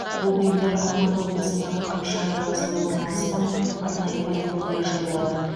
бұл бұйымдар алматы облысындағы қапшағай қаласында орналасқан арнайы полигонда жойылады